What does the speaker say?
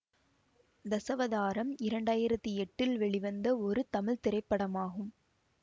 தசாவதாரம் இரண்டாயிரத்தி எட்டில் வெளிவந்த ஒரு தமிழ் திரைப்படமாகும்